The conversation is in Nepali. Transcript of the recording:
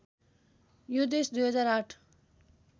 यो देश २००८